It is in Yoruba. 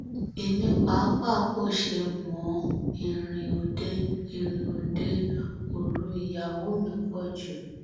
èmi pàápàá kò ṣe mọ ọ ìrìn òde ìrìn òde òru ìyàwó mi pọ jù